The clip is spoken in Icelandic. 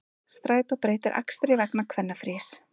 Strætó breytir akstri vegna kvennafrís